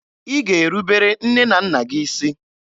Ị ga-erubere nne na nna gị isi!